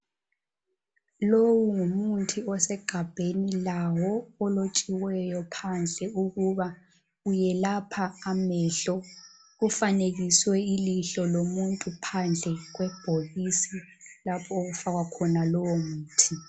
Lowu ngumuthi osegabheni lawo, ulotshiweyo phandle ukuba uwelapha amehlo. Kufanekiswe ilihlo lomuntu phandle kwe bhokisi lapho okufakwa khona lowo muthi.